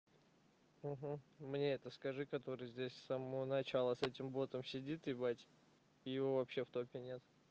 угу мне это скажи который здесь с самого начала с этим ботом сидит ебать его вообще в топе нет